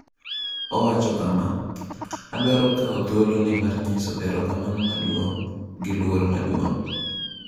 Owacho kama: “Adwaro kawo thuoloni mar nyiso erokamano maduong’ gi luor maduong’.”